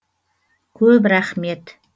көп рахмет